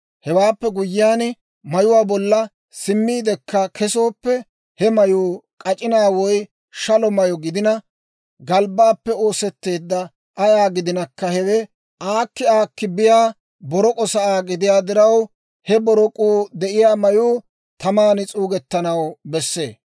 Hewaappe guyyiyaan, mayuwaa bolla simmiidekka kesooppe, he mayuu k'ac'inaa woy shalo mayyo gidina, galbbaappe oosetteeddawaa ayaa gidinakka, hewe aakki aakki biyaa borok'o saa gidiyaa diraw, he borok'uu de'iyaa mayuu taman s'uugettanaw bessee.